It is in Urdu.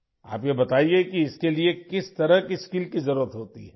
ہمیں بتائیں کہ اس کے لیے کس قسم کی مہارت کی ضرورت ہے